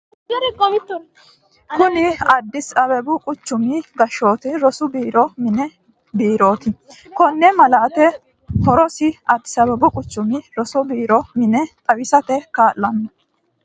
Kuni ADDIS ABABU quchumi gaashootu rosu borro mini biirooti. Koni malaati horosi ADDIS ABABu Quchumi rosu borro mine xawiisate kalano